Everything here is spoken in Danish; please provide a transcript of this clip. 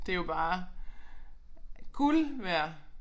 Det jo bare guld værd